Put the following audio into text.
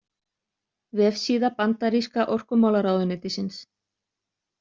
Vefsíða Bandaríska orkumálaráðuneytisins.